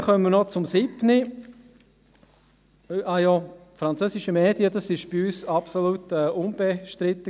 Wir kommen noch zur Planungserklärung 7. – Übrigens war diese wegen der französischsprachigen Medien bei uns absolut unbestritten.